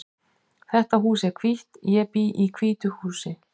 Þetta hús er hvítt. Ég bý í hvítu húsi.